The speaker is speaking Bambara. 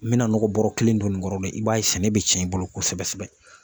N mina nɔgɔ bɔrɔ kelen don nin kɔrɔ, i b'a ye sɛnɛ bɛ tiɲɛ i bolo kosɛbɛ kosɛbɛ.